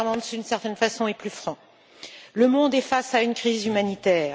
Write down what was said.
Timmermans, d'une certaine façon, est plus franc. Le monde est face à une crise humanitaire.